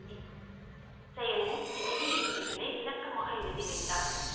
செயலில் எழுதி விதிமுறைகளை விளக்கமாக எழுதி வைத்தார்